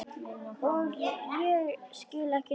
Og ég skil ekki neitt.